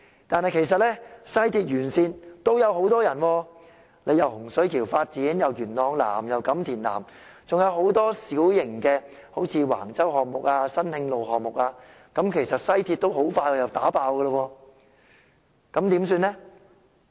但其實西鐵沿線地區也有很多居民，既有洪水橋新發展區，又會在元朗南及錦田南進行發展等，還有很多小型項目，如橫洲項目及新慶路項目，其實西鐵線很快又被迫爆。